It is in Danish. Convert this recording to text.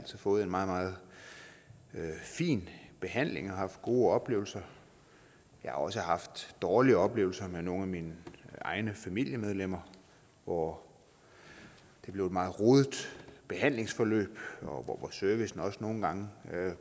fået en meget meget fin behandling og har haft gode oplevelser jeg har også haft dårlige oplevelser med nogle af mine egne familiemedlemmer hvor det blev et meget rodet behandlingsforløb og hvor servicen også nogle gange